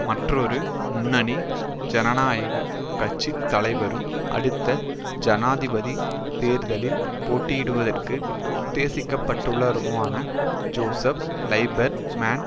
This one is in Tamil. மற்றொரு முன்னணி ஜனநாயக கட்சி தலைவரும் அடுத்த ஜனாதிபதி தேர்தலில் போட்டியிடுவதற்கு உத்தேசிக்கப்பட்டுள்ளவருமான ஜோசப் லைபர் மேன்